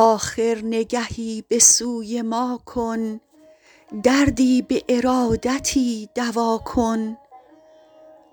آخر نگهی به سوی ما کن دردی به ارادتی دوا کن